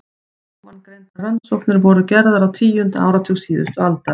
Ofangreindar rannsóknir voru gerðar á tíunda áratug síðustu aldar.